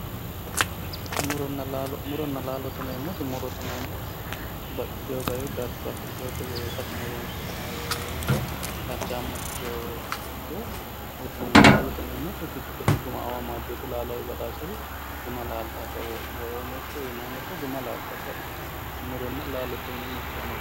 muronna laalo murote yineemmoti baxxino garinni farcho afidhinote itateno horoonsi'nayite darchaamma ikkitinore murote yinayi laalote yineemmoti kayi guma amadinote laalowi badaaseri guma laaltannote yaate.